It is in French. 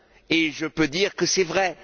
Et je peux dire que c'est vrai.